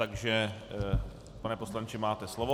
Takže pane poslanče, máte slovo.